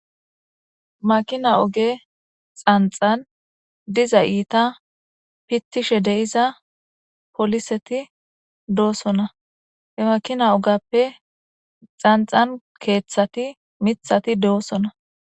makina oge xanxan diza iita pittishe de7iza poliseti doosona he makina ogappe xanxan keeththati mithati do7osona